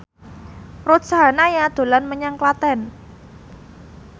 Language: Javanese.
Ruth Sahanaya dolan menyang Klaten